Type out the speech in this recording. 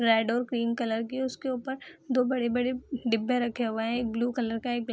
red और cream colour के उसके ऊपर दो बड़े-बड़े डब्बे रखे हुए हैं एक ब्लू कलर का एक ब्लैक --